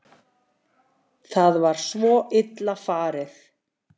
Það var svo illa farið